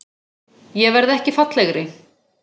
Ég verð ekki fallegri.